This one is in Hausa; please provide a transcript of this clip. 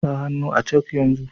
Sa hannu a cak yanzu.